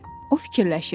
O fikirləşirdi.